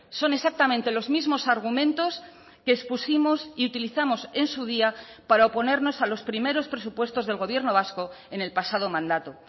son exactamente los mismos argumentos que expusimos y utilizamos en su día para oponernos a los primeros presupuestos del gobierno vasco en el pasado mandato